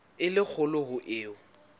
e le kgolo ho eo